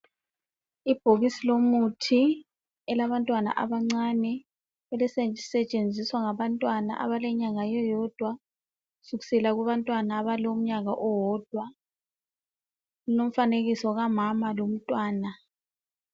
Ibhokisi lomuthi elabantwana abancane elisetshenziswa ngabantwana abalenyanga eyodwa kusukisela kubantwana abalomnyaka owodwa. Kulomfanekiso kamama lomntwana.